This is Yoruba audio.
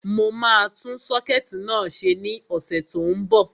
Mo máa tún sọ́kẹ̀tì náà ṣe ní ọ̀sẹ̀ tó n bọ̀